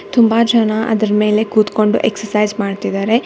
ತುಂಬಾ ಜನ ಅದರ ಮೇಲೆ ಕೂತ್ಕೊಂಡು ಎಕ್ಸರ್ಸೈಜ್ ಮಾಡ್ತಿದ್ದಾರೆ.